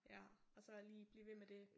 Ja og så lige blive ved med det